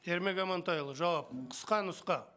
ермек амантайұлы жауап қысқа нұсқа